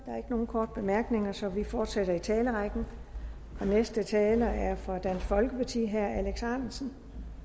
er ikke nogen korte bemærkninger så vi fortsætter i talerrækken den næste taler er fra dansk folkeparti er herre alex ahrendtsen